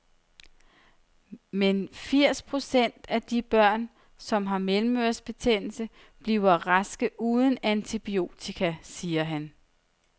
Men firs procent af de børn, som har mellemørebetændelse, bliver raske uden antibiotika, siger han.